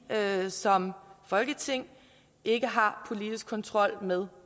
som folketing ikke har politisk kontrol med